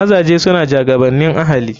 Mazaje suna jagabanin ahali.